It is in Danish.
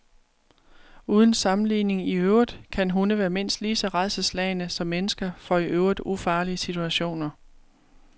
Uden sammenligning i øvrigt kan hunde være mindst lige så rædselsslagne som mennesker for i øvrigt ufarlige situationer.